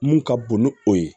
Mun ka bon ni o ye